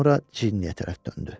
Sonra Ciniyə tərəf döndü.